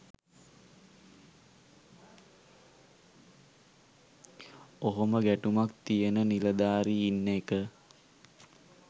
ඔහොම ගැටුමක් තියන නිළධාරී ඉන්න එක